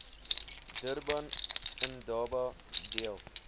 durban indaba deel